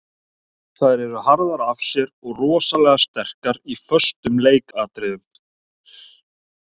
Þær eru harðar af sér og rosalega sterkar í föstum leikatriðum.